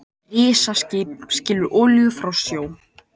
Risaskip skilur olíu frá sjó